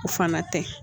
O fana tɛ